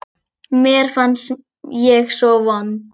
Mér fannst ég svo vond.